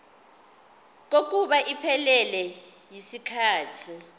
kokuba iphelele yisikhathi